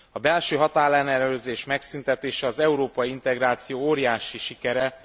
A belső határellenőrzés megszüntetése az európai integráció óriási sikere.